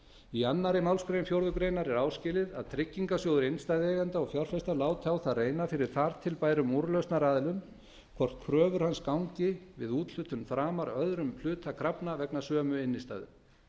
í annarri málsgrein fjórðu grein er áskilið að tryggingarsjóður innstæðueigenda og fjárfesta láti á það reyna fyrir þar til bærum úrlausnaraðilum hvort kröfur hans gangi við úthlutun framar öðrum hluta krafna vegna sömu innstæðu